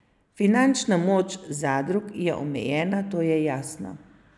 Finančna moč zadrug je omejena, to je jasno.